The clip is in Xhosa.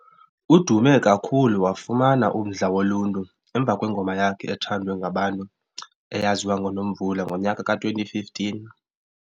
Udume kakhulu wafuman umdla woluntu emva kwengoma yakhe ethandwe ngabantu eyaziwa ngo "Nomvula" ngonyaka ka 2015.